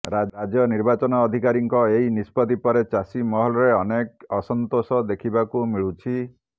ରାଜ୍ୟ ନିର୍ବାଚନ ଅଧିକାରୀଙ୍କ ଏହି ନିଷ୍ପତ୍ତି ପରେ ଚାଷୀ ମହଲରେ ଅନେକ ଅସନ୍ତୋଷ ଦେଖିବାକୁ ମିଳୁଛି